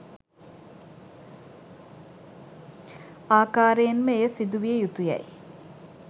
ආකාරයෙන්ම එය සිදු විය යුතු යැයි